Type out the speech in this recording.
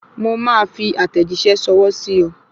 Mo máa fi àtẹ̀jíṣẹ́ ṣọwọ́ sí ọ